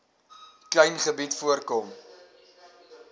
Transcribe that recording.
klein gebied voorkom